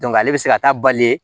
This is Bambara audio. ale bɛ se ka taa bali